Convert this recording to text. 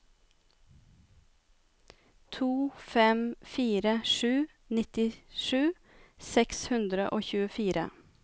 to fem fire sju nittisju seks hundre og tjuefire